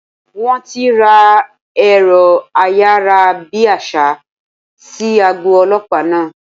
Wón ti ra èrọ ayárabíàṣá sí àgọ́ Ọlọ́pàá náà.